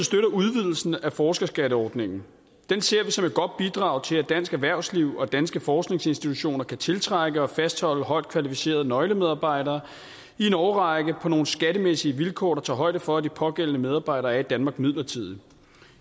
støtter udvidelsen af forskerskatteordningen den ser vi som et godt bidrag til at dansk erhvervsliv og danske forskningsinstitutioner kan tiltrække og fastholde højt kvalificerede nøglemedarbejdere i en årrække på nogle skattemæssige vilkår der tager højde for at de pågældende medarbejdere er i danmark midlertidigt